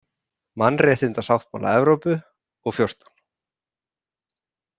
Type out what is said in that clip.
Mannréttindasáttmála Evrópu og XIV.